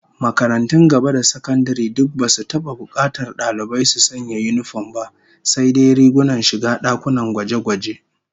Makarantun gaba da sakandare duk basu taba bukatar dalibai su sanya yinifom ba, sai. dai rigunan shiga dakunan gwaje-gwaje